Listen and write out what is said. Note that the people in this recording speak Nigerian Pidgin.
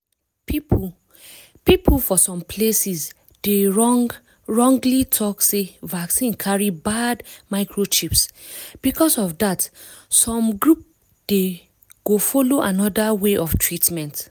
people people for some places dey wrong wrongly talk sey vaccine carry bad microchips because of rhat some group dey go follow another way of treatment.